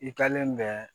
I kɛlen bɛ